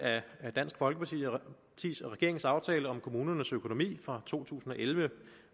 af dansk folkeparti og regeringens aftale om kommunernes økonomi fra to tusind og elleve